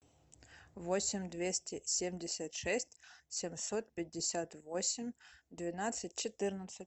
восемь двести семьдесят шесть семьсот пятьдесят восемь двенадцать четырнадцать